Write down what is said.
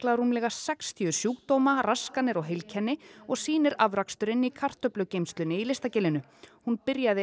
rúmlega sextíu sjúkdóma raskanir og heilkenni og sýnir afraksturinn í kartöflugeymslunni í Listagilinu hún byrjaði